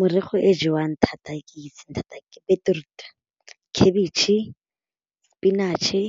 Merogo e jewang thata e ke itseng thata beetroot, khabetšhe ke spinach-e